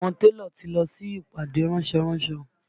Àwọn télọ̀ ti lọ sí ìpàdé ránsọ ránsọ